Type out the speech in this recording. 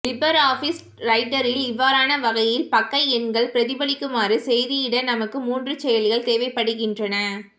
லிபர் office ரைட்டரில் இவ்வாறான வகையில் பக்கஎண்கள் பிரதிபலிக்குமாறு செய்திட நமக்கு மூன்று செயல்கள் தேவைப்படுகின்றன